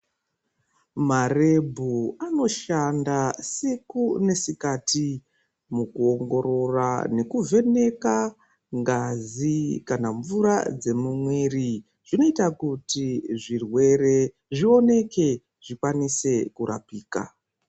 Marebhu anoshanda siku nesikati mukuongorora nekuvheneka ngazi kana mvura dzemumwiri zvinoita kuti zvirwere zvioneke zvikasike kurapika.